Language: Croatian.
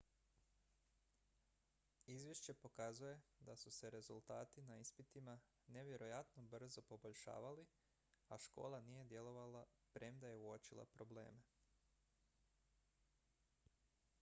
izvješće pokazuje da su se rezultati na ispitima nevjerojatno brzo poboljšavali a škola nije djelovala premda je uočila probleme